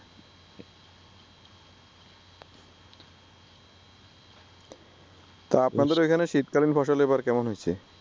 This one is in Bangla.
তা আপনাদের অইখানে শীতকালীন ফসল এবার কেমন হয়ছে?